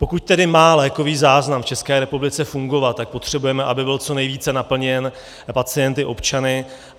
Pokud tedy má lékový záznam v České republice fungovat, tak potřebujeme, aby byl co nejvíc naplněn pacienty, občany.